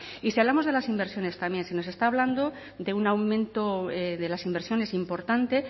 y si hablamos de las inversiones también se nos está hablando de un aumento de las inversiones importante